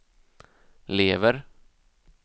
lever